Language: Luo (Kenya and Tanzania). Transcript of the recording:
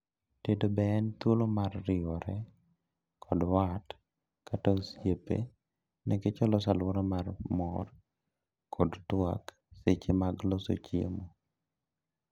tedo be en thuolo mar riwore kod wat kata osiepe niketch oloso aluora mar mor kod twak seche mag loso chiemo